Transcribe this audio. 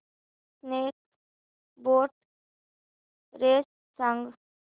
snake boat race सांग